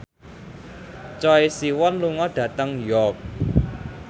Choi Siwon lunga dhateng York